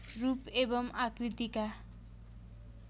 रूप एवं आकृतिका